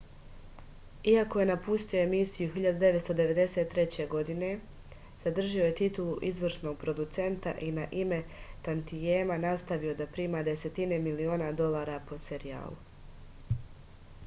iako je napustio emisiju 1993. godine zadržao je titulu izvršnog producenta i na ime tantijema nastavio da prima desetine miliona dolara po serijalu